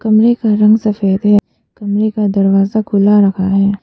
कमरे का रंग सफेद है कमरे का दरवाजा खुला रखा है।